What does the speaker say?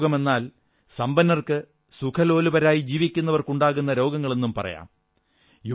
രാജരോഗമെന്നാൽ സമ്പന്നർക്ക് സുഖലോലുപരായി ജീവിക്കുന്നവർക്ക് ഉണ്ടാകുന്ന രോഗങ്ങളെന്നും പറയാം